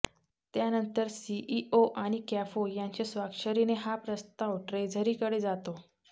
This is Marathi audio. त्यानंतर सीईओ आणि कॅफो यांच्या स्वाक्षरीने हा प्रस्ताव ट्रेझरीकडे जातो